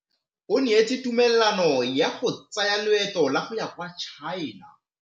O neetswe tumalanô ya go tsaya loetô la go ya kwa China.